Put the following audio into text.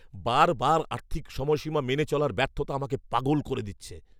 বারবার আর্থিক সময়সীমা মেনে চলার ব্যর্থতা আমাকে পাগল করে দিচ্ছে।